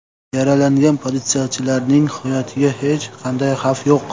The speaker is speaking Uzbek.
Yaralangan politsiyachilarning hayotiga hech qanday xavf yo‘q.